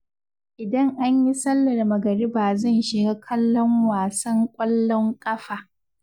idan an yi sallar magariba zan shiga kallon wasan ƙwallon ƙafa.